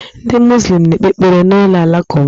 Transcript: Ndị muzlịm na-ekpe ekpere na ụlọ alakụba.